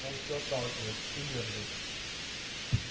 он все отталкивает всю мерзость